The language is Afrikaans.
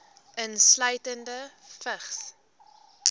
insluitende vigs